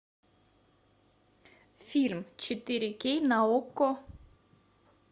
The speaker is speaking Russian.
фильм четыре кей на окко